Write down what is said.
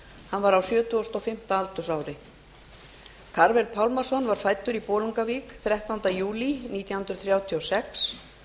hann var á sjötugasta og fimmta aldursári karvel pálmason var fæddur í bolungarvík þrettánda júlí nítján hundruð þrjátíu og sex